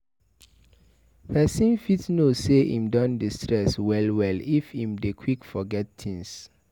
Person fit know sey im don dey stress well well if im dey quick forget things